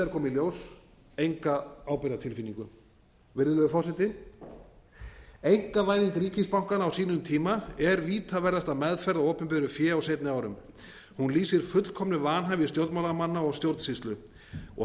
í ljós enga ábyrgðartilfinningu virðulegur forseti einkavæðing ríkisbankanna á sínum tíma er vítaverðasta meðferð á opinberu fé á seinni árum hún lýsir fullkomnu vanhæfi stjórnmálamanna og stjórnsýslu og það